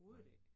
Nej